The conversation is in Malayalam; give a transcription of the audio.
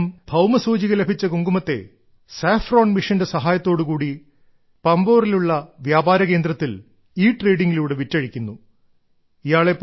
അയാൾ തന്റെ ഭൌമ സൂചിക ലഭിച്ച കുങ്കുമത്തെ നാഷണൽ സാഫ്രോൺ മിഷന്റെ സഹായത്തോടു കൂടി പമ്പോറിലുള്ള വ്യാപാരകേന്ദ്രത്തിൽ ട്രേഡിംഗ് സെന്ത്രെ എട്രേഡിംഗ് ലൂടെ വിറ്റഴിക്കുന്നു